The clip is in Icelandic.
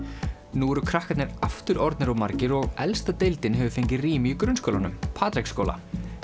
nú eru krakkarnir aftur orðnir of margir og elsta deildin hefur fengið rými í grunnskólanum Patreksskóla